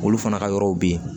Olu fana ka yɔrɔw bɛ yen